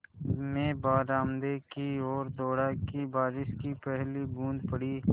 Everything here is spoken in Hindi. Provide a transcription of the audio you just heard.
मैं बरामदे की ओर दौड़ा कि बारिश की पहली बूँद पड़ी